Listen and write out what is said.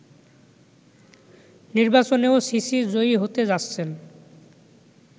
নির্বাচনেও সিসি জয়ী হতে যাচ্ছেন